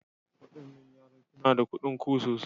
Waɗannan yaran suna da kuɗin ku sosai.